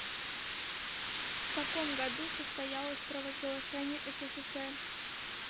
в каком году состоялось провозглашение ссср